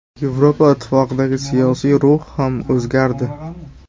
Yevropa Ittifoqidagi siyosiy ruh ham o‘zgardi.